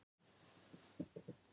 Edda Snorra Sturlusonar.